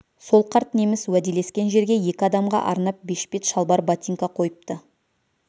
сол қарт неміс уәделескен жерге екі адамға арнап бешпет шалбар ботинка қойыпты